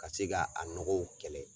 Ka se ka a nɔgɔw kɛlɛ.